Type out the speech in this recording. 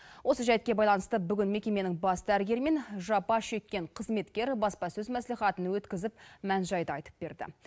осы жәйтке байланысты бүгін мекеменің бас дәрігері мен жапа шеккен қызметкер баспасөз мәслихатын өткізіп мән жайды айтып берді